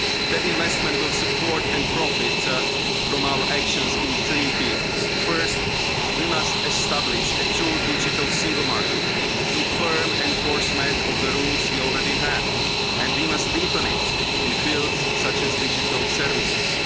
That investment will support and profit from our actions in three fields First, we must establish a true digital single market through firm enforcement of the rules we already have, and we must deepen it in fields such as digital services.